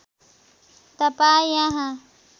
तपाईँ यहाँ